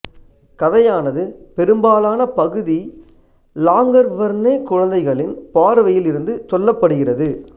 கதையானது பெரும்பாலான பகுதி லாங்கர்வர்னே குழந்தைகளின் பார்வையில் இருந்து சொல்லப்படுகிறது